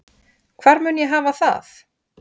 Hvar mun ég hafa það?